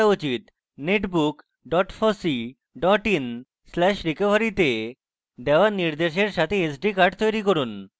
netbook fossee in/recovery তে দেওয়া নির্দেশের সাথে sd কার্ড তৈরী করুন